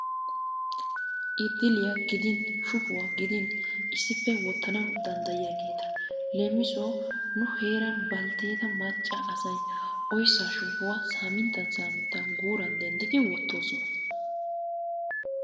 Idiliyaa gidin shuppuwaa gidin issippe woottanawu danddiyaageta. Leemisuwaawu nu heeran baltteeta macca asay oyssaa shupuwaa saminttan saminttan guuran denddiidi wotossona.